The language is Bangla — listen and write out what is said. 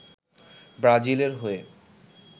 ব্রাজিলের হয়ে